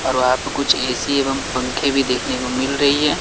और वहां पे कुछ ए_सी एवं पंखे भी देखने को मिल रही है।